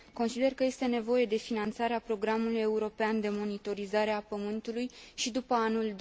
Consider că este nevoie de finanțarea Programului european de monitorizare a Pământului și după anul